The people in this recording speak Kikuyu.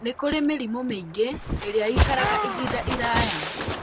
Nĩ kũrĩ mĩrimũ mĩingĩ ĩrĩa ĩikaraga ihinda iraya